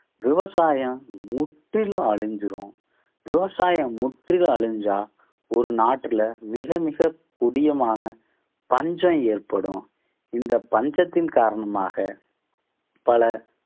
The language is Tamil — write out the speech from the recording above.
விவசாயம் முற்றிலும் அழிஞ்சிரும். விவசாயம் முற்றிலும் அழிஞ்சா ஒரு நாட்டுல மிக மிக கொடியமான பஞ்சம் ஏற்படும். இந்த பஞ்சத்தின் காரணமாக பல